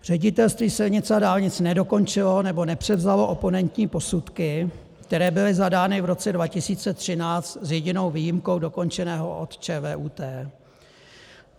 Ředitelství silnic a dálnic nedokončilo nebo nepřevzalo oponentní posudky, které byly zadány v roce 2013, s jedinou výjimkou, dokončení od ČVUT.